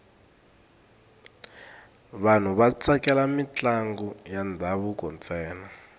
vanhu va tsakela mintlangu ya ndhavuko ntsena